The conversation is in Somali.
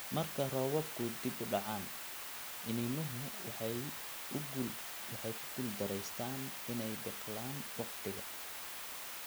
Marka roobabku dib u dhacaan, iniinuhu waxay ku guuldareystaan ??inay biqlaan wakhtiga.